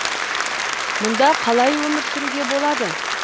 мұнда қалай өмір сүруге болады